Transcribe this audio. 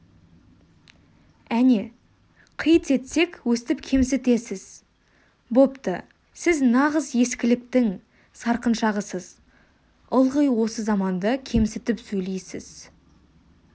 әне қит етсек өстіп кемсітесіз бопты сіз нағыз ескіліктің сарқыншағысыз ылғи осы заманды кемсітіп сөйлейсіз